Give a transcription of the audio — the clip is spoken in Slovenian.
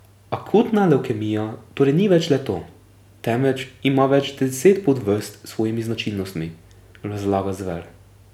Akutna levkemija torej ni več le to, temveč ima več deset podvrst s svojimi značilnostmi, razlaga Zver.